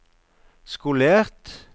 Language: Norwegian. skolert